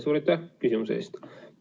Suur aitäh küsimuse eest!